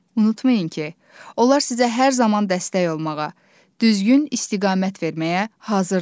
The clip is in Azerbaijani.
Unutmayın ki, onlar sizə hər zaman dəstək olmağa, düzgün istiqamət verməyə hazırdırlar.